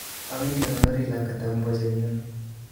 Owendi akonori lakwet tab mbojet nyun